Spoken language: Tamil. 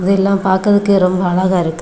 இதெல்லா பாக்குறக்கு ரொம்ப அழகா இருக்கு.